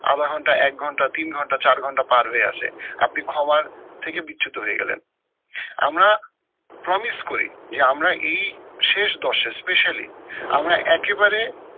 আধা ঘন্টা এক ঘন্টা তিন ঘন্টা চার ঘন্টা পার হয়ে আসে, আপনি ক্ষমার থেকে বিচ্যুত হয়ে গেলেন। আমরা promise করি যে আমরা এই শেষ দশে specially আমরা একেবারে